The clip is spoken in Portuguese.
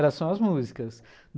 Era só as músicas.